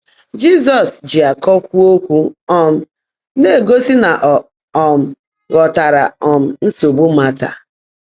Jị́zọ́s jị ákọ́ kwúó ókwụ́, um ná-égósị́ ná ọ́ um ghọ́táárá um nsógbú Màtá.